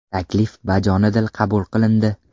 Taklif bajonidil qabul qilindi.